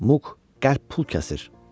Muk qəlb pul kəsir."